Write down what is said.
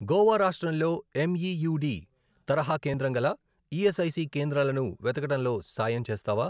గోవా రాష్ట్రంలో ఎమ్ఈయూడి తరహా కేంద్రం గల ఈఎస్ఐసి కేంద్రాలను వెతకడంలో సాయం చేస్తావా?